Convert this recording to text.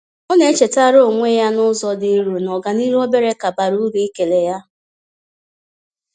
Ọ na-echetaara onwe ya n’ụzọ dị nro na ọganihu obere ka bara uru ịkele ya.